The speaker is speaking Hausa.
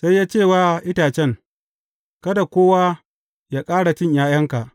Sai ya ce wa itacen, Kada kowa yă ƙara cin ’ya’yanka.